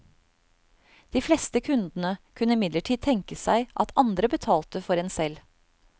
De fleste kundene kunne imidlertid tenke seg at andre betalte for en selv.